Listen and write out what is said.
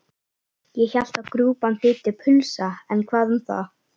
Ég hélt að grjúpán þýddi pulsa en hvað um það?